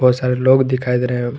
बहुत सारे लोग दिखाई दे रहे हैं।